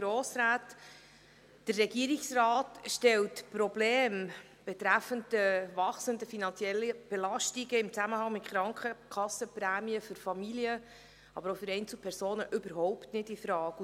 Der Regierungsrat stellt die Probleme betreffend die wachsenden finanziellen Belastungen im Zusammenhang mit den Krankenkassenprämien für Familien, aber auch für Einzelpersonen überhaupt nicht infrage.